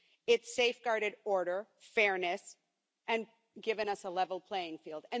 It's safeguarded order and fairness and given us a level playing field.